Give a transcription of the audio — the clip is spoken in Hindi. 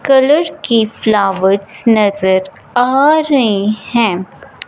कलर की फ्लावर्स नजर आ रहीं हैं।